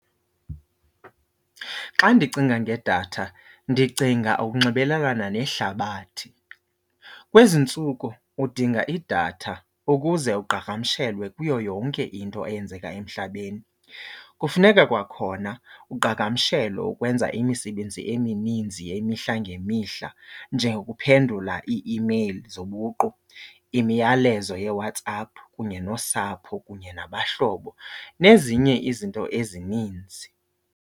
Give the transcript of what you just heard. Xa ndicinga ngedatha, ndicinga ukunxibelelana nehlabathi. Kwezi ntsuku udinga idatha ukuze uqhagamshelwe kuyo yonke into eyenzeka emhlabeni. Kufuneka kwakhona uqhagamshelwe ukwenza imisebenzi emininzi yemihla ngemihla njengokuphendula ii-imeyili zobuqu, imiyalezo yeWhatsApp kunye nosapho kunye nabahlobo, nezinye izinto ezininzi.